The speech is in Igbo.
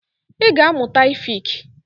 Ị ga amụta efik!